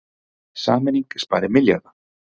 Sameining spari milljarða